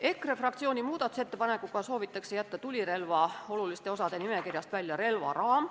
EKRE fraktsiooni muudatusettepanekuga soovitakse jätta tulirelva oluliste osade nimekirjast välja relvaraam.